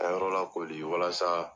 An ye yɔrɔ lakori walasa